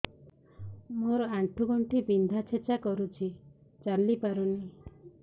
ମୋର ଆଣ୍ଠୁ ଗଣ୍ଠି ବିନ୍ଧା ଛେଚା କରୁଛି ଚାଲି ପାରୁନି